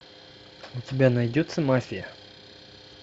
у тебя найдется мафия